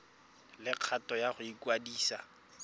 le kgano ya go ikwadisa